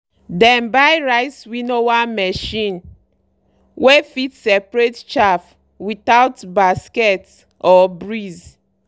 dem buy rice winnower machine wey fit separate chaff without basket or breeze.